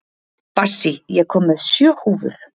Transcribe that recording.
Bassí, ég kom með sjö húfur!